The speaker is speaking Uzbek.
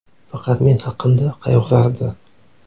Faqat men haqimda qayg‘urardi.